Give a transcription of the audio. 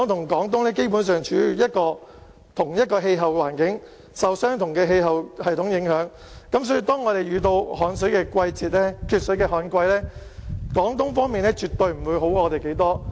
而香港與廣東基本上處於同一氣候環境，受相同的氣候系統影響，當我們遇到缺水的旱季，廣東方面絕對不會比我們好太多。